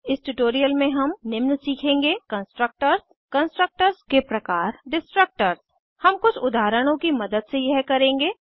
इस ट्यूटोरियल में हम निम्न सीखेंगे Constructorsकंस्ट्रक्टर्स कंस्ट्रक्टर्स के प्रकार डिस्ट्रक्टर्स डिस्ट्रक्टर्स हम कुछ उदाहरणों की मदद से यह करेंगे